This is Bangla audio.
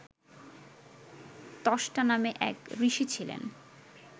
ত্বষ্টা নামে এক ঋষি ছিলেন